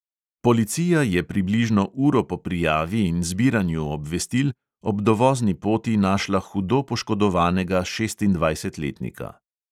Policija je približno uro po prijavi in zbiranju obvestil ob dovozni poti našla hudo poškodovanega šestindvajsetletnika.